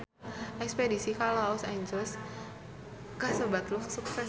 Espedisi ka Los Angeles kasebat sukses